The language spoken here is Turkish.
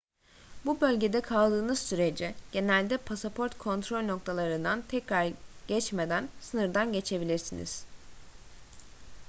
bu bölgede kaldığınız sürece genelde pasaport kontrol noktalarından tekrar geçmeden sınırdan geçebilirsiniz